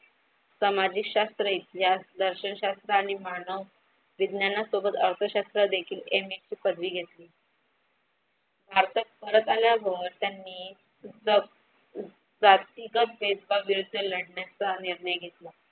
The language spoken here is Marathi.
सामाजिक शास्त्र इथल्या दर्शनशास्त्र आणि मानव विज्ञाना सोबत अर्थशास्त्र देखील MSC पदवी घेतली. भारतात परत आल्यावर त्यांनी जा जातिगत भेदभाव विरुद्ध लढण्याचा निर्णय घेतला.